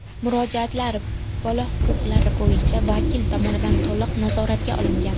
Murojaatlar bola huquqlari bo‘yicha vakil tomonidan to‘liq nazoratga olingan.